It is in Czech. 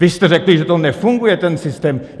Vy jste řekli, že to nefunguje, ten systém.